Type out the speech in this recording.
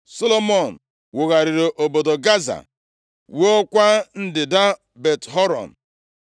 Solomọn wugharịrị obodo Gaza, wuokwa ndịda Bet-Horon,